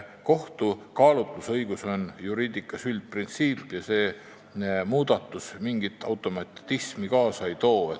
Kohtu kaalutlusõigus on juriidikas üldprintsiip ja see muudatus mingit automatismi kaasa ei too.